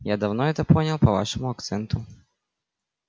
я давно это понял по вашему акценту